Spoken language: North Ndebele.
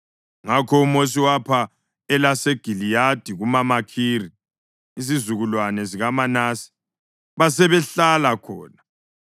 Ngakho uMosi wapha elaseGiliyadi kumaMakhiri, izizukulwane zikaManase, basebehlala khona.